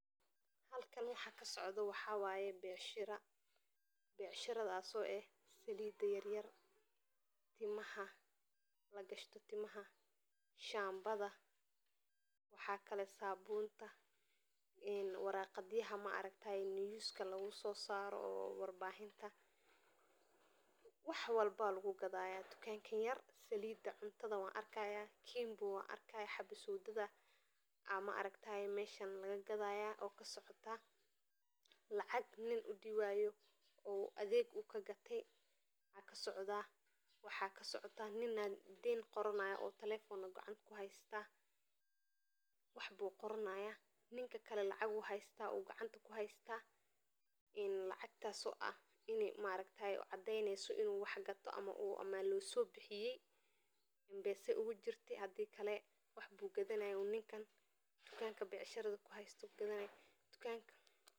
Halkan waxaa kasocdo waxaa wayw becshirathas oo eh salda yar yar oo ilmaha lagashto timaha shan badha, waxaa kale sabunta waraqadhaha niyuska lagu sosaro warbixinta, wax walbo aya lagu gadhaya tukankan yar salida cuntadha wan arki haya kimbo wan arki haya xabasowdada aya meshan laga gadha, kacag maragte u ninka udiwe aa kasocda, nin aya den qorani haya oo talefona gacanta ku hasta, wax bu qirani haya ninka kale lacag ayu gacanta ku hasta ee lacatas oo ah in maaragtee cadeynesa in u wax gate mase lo sobixiyay mpesa ugu jirte hadii kale wax bu gadhanaye tukanka becshirada u kuhasto tukanka.